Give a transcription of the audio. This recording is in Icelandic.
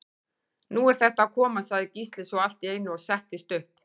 Nú er þetta að koma, sagði Gísli svo allt í einu og settist upp.